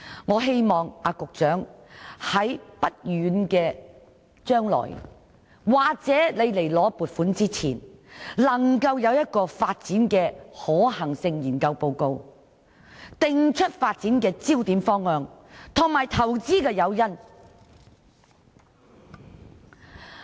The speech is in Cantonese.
我希望局長在不遠的將來或向立法會申請撥款之前，能提交一份發展可能性研究報告，訂出發展焦點、方向，以及投資的誘因。